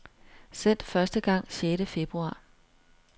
Sendt første gang sjette februar.